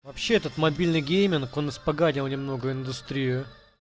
вообще этот мобильный гейминг он испоганил немного индустрию